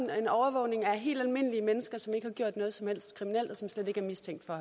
en overvågning af helt almindelige mennesker som ikke har gjort noget som helst kriminelt og som slet ikke er mistænkt for